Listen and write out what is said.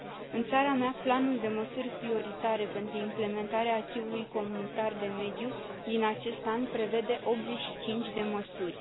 În țara mea, planul de măsuri prioritare pentru implementarea acquis ului comunitar de mediu din acest an prevede 85 de măsuri.